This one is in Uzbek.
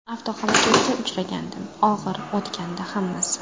Avtohalokatga uchragandim, og‘ir o‘tgandi hammasi.